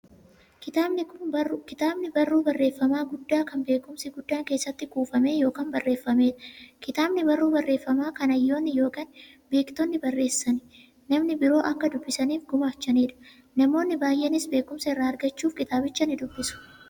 Kitaabni barruu barreeffamaa guddaa, kan beekumsi guddaan keessatti kuufame yookiin barreefameedha. Kitaabni barruu barreeffamaa, kan hayyoonni yookiin beektonni barreessanii, namni biroo akka dubbisaniif gumaachaniidha. Namoonni baay'eenis beekumsa irraa argachuuf kitaabicha nidubbisu.